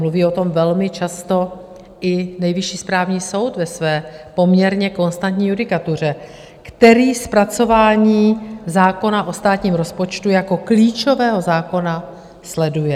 Mluví o tom velmi často i Nejvyšší správní soud ve své poměrně konstantní judikatuře, který zpracování zákona o státním rozpočtu jako klíčového zákona sleduje.